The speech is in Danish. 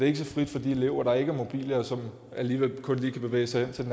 ikke så frit for de elever der ikke er mobile og som alligevel kun lige kan bevæge sig hen til